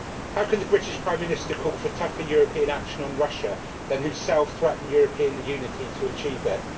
How can the British Prime Minister call for tougher European action on Russia, then himself threaten European unity to achieve it?